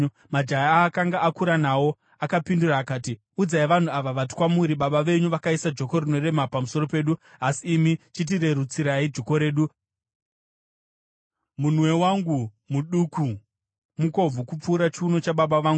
Majaya aakanga akura nawo akapindura akati, “Udzai vanhu ava vati kwamuri, ‘Baba venyu vakaisa joko rinorema pamusoro pedu, asi imi chitirerutsirai joko redu’ vaudzei kuti, ‘Munwe wangu muduku, mukobvu kupfuura chiuno chababa vangu.